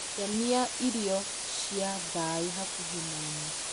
yonia irio cia thaĩ hakuhĩ naniĩ